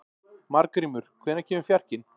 Margrímur, hvenær kemur fjarkinn?